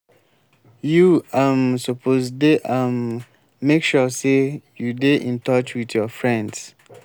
you um suppose dey um make sure sey you dey in touch wit your friends.